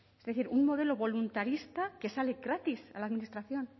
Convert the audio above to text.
es decir un modelo voluntarista que sale gratis a la administración